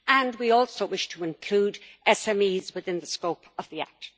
we also wish to include SMEs within the scope of the act.